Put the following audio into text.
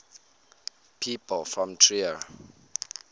people from trier